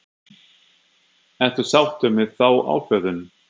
Ertu sáttur með þá ákvörðun?